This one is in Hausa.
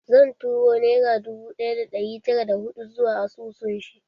Zan turo nera dubu ɗaya da ɗari tara da hudu zuwa asusun shi